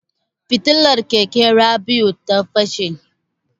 Fitilar keken Rabi'u ta fashe.